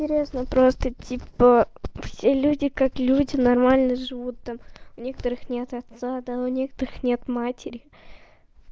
интересно просто типа все люди как люди нормально живут там у некоторых нет отца да у некоторых нет матери